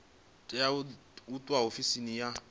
tea u itwa ofisini ya